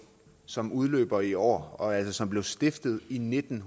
som udløber i år og som altså blev stiftet i nitten